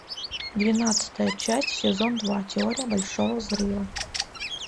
двенадцатая часть сезон два теория большого взрыва